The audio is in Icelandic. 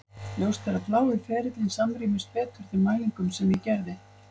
Ljóst er að blái ferillinn samrýmist betur þeim mælingum sem ég gerði.